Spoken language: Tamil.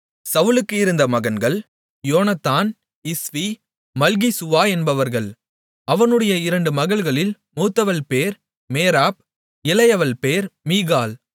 சவுலுக்கு இருந்த மகன்கள் யோனத்தான் இஸ்வி மல்கிசூவா என்பவர்கள் அவனுடைய இரண்டு மகள்களில் மூத்தவள் பேர் மேராப் இளையவள் பேர் மீகாள்